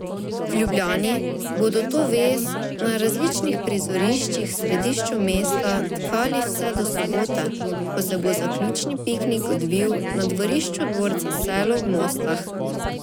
V Ljubljani bodo to vez na različnih prizoriščih v središču mesta tkali vse do sobote, ko se bo zaključni piknik odvil na dvorišču dvorca Selo v Mostah.